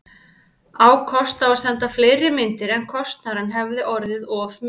Á kost á að senda fleiri myndir, en kostnaðurinn hefði orðið of mikill.